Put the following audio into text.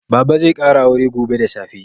Baba zai ƙara aure gobe da safe.